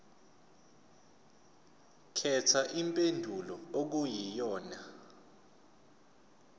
khetha impendulo okuyiyona